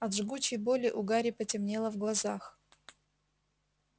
от жгучей боли у гарри потемнело в глазах